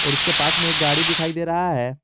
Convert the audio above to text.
और उसके पास में एक गाड़ी दिखाई दे रहा है।